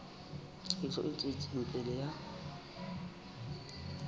tlhahiso e tswetseng pele ya